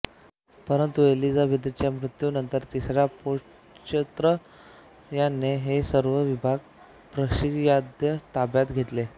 परंतू एलिझाबेथच्या मृत्युनंतर तिसरा प्योत्र याने हे सर्व विभाग प्रशियाच्या ताब्यात दिले